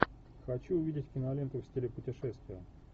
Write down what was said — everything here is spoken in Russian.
хочу увидеть киноленту в стиле путешествия